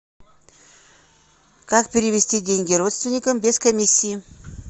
как перевести деньги родственникам без комиссии